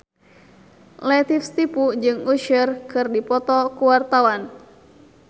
Latief Sitepu jeung Usher keur dipoto ku wartawan